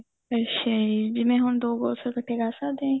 ਅੱਛਾ ਜੀ ਜਿਵੇਂ ਹੁਣ ਦੋ course ਇੱਕਠੇ ਕਰ ਸਕਦੇ ਆ ਜੀ